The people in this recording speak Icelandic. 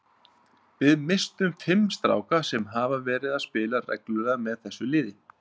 Við misstum fimm stráka sem hafa verið að spila reglulega með þessu liði.